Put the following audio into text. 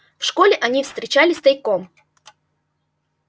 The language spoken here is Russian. в школе они встречались тайком